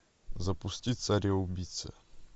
запусти цареубийца